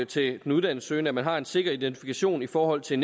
til den uddannelsessøgende at man har en sikker identifikation i forhold til